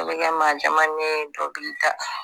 dɔ bɛ kɛmaa jamanen ye dɔ b'i da